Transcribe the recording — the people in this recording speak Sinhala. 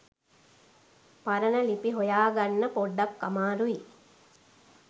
පරණ ලිපි හොයාගන්න පොඩ්ඩක් අමාරුයි.